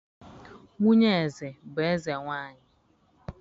nwunye eze bu eze-nwanyi.